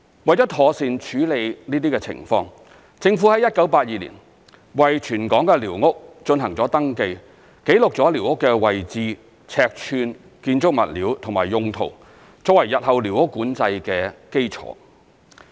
為了妥善處理這些情況，政府於1982年為全港的寮屋進行登記，記錄了寮屋的位置、尺寸、建築物料及用途，作為日後寮屋管制的基礎。